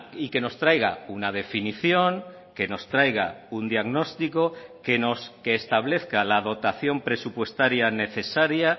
y que nos traiga una definición que nos traiga un diagnóstico que establezca la dotación presupuestaria necesaria